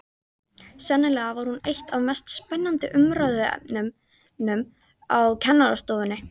Sennilega var hún eitt af mest spennandi umræðuefnunum á kennarastofunni.